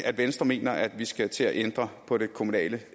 venstre mener at vi skal til at ændre på det kommunale